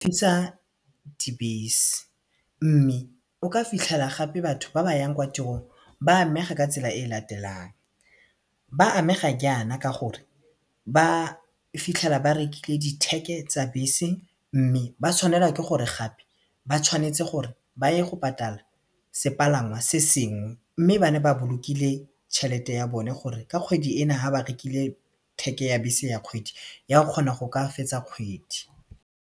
Dibese mme o ka fitlhela gape batho ba ba yang kwa tirong ba amega ka tsela e latelang ba amega jaana ka gore ba fitlhela ba rekile ditheke tsa bese mme ba tshwanelwa ke gore gape ba tshwanetse gore ba ye go patala sepalangwa se sengwe mme ba ne ba bolokile tšhelete ya bone gore ka kgwedi ena ha ba rekile theke ya bese ya kgwedi ya kgona go ka fetsa kgwedi.